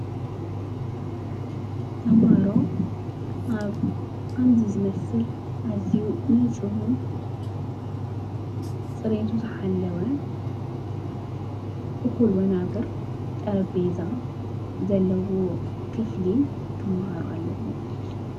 ተምሃሮ ኣብ ኸምዚ ዝመስል ኣዚዩ ንጽፍን ጽረይቱ ዝሓለወ እዂል ወናብር ጠረቤዛ ዘለዎ ክፍሊ ኽመሃሮ ኣለዎ።